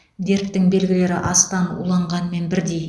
дерттің белгілері астан уланғанмен бірдей